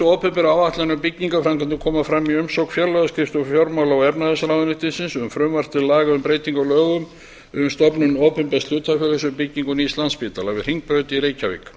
opinberu áætlanir um byggingarframkvæmdirnar koma fram í umsögn fjárlagaskrifstofu fjármála og efnahagsráðuneytis um frumvarp til laga um breytingu á lögum um stofnun opinbers hlutafélags um byggingu nýs landspítala við hringbraut í reykjavík